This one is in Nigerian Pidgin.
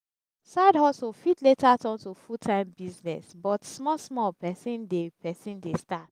side hustle fit later turn to full time business but small small person de person de start